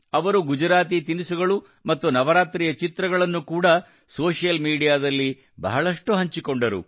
ಅವರು ಗುಜರಾತಿ ತಿನಿಸುಗಳು ಮತ್ತು ನವರಾತ್ರಿಯ ಚಿತ್ರಗಳನ್ನು ಕೂಡಾ ಸಾಮಾಜಿಕ ಮಾಧ್ಯಮದಲ್ಲಿ ಬಹಳಷ್ಟು ಹಂಚಿಕೊಂಡರು